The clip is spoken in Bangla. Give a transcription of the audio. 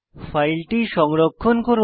ফাইলটি সংরক্ষণ করুন